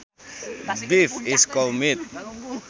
Beef is cow meat